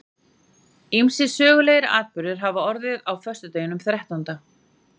ýmsir sögulegir atburðir hafa orðið á föstudeginum þrettánda